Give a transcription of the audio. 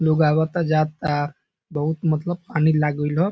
लोग आवता जा ता बहुत मतलब पानी लागिल हो |